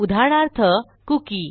उदाहरणार्थ कुकी